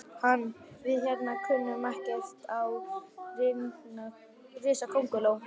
Hann. við hérna kunnum ekkert á risakónguló.